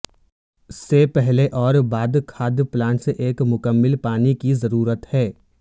سے پہلے اور بعد کھاد پلانٹس ایک مکمل پانی کی ضرورت ہے